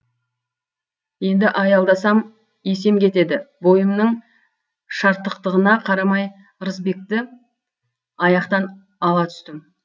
енді аялдасам есем кетеді бойымның шартықтығына қарамай ырысбекті аяқтан ала түстім